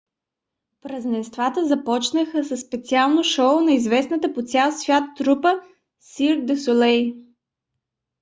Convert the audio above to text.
празненствата започнаха със специално шоу на известната по цял свят трупа cirque du soleil